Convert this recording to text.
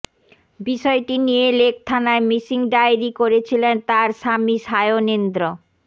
বিষয়টি নিয়ে লেকথানায় মিসিং ডায়েরি করেছিলেন তাঁর স্বামী সায়নেন্দ্র